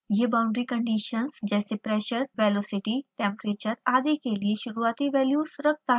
यह boundary conditions जैसे pressure velocity temperature आदि के लिए शुरूआती वैल्यूज़ रखता है